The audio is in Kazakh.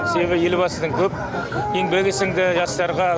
себебі елбасының көп еңбегі сіңді жастарға